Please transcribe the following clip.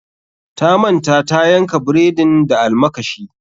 Ta manta tayanka bredin da almakashi.